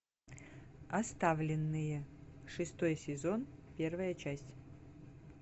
оставленные шестой сезон первая часть